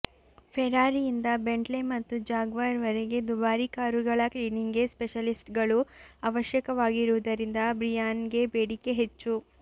ಫೆರಾರಿಯಿಂದ Bentley ಮತ್ತು Jaguar ವರೆಗೆ ದುಬಾರಿ ಕಾರುಗಳ ಕ್ಲೀನಿಂಗ್ಗೆ ಸ್ಪೆಷಲಿಸ್ಟ್ಗಳು ಅವಶ್ಯಕವಾಗಿರುವುದರಿಂದ ಬ್ರಿಯಾನ್ಗೆ ಬೇಡಿಕೆ ಹೆಚ್ಚು